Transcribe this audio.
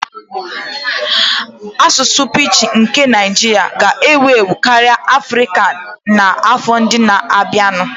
Asụsụ pidgin nke Naijiria ga-ewu ewu karịa Afrika n'afọ ndị na-abịanụ